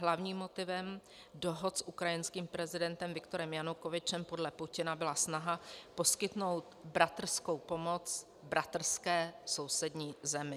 Hlavním motivem dohod s ukrajinským prezidentem Viktorem Janukovyčem podle Putina byla snaha poskytnout bratrskou pomoc bratrské sousední zemi.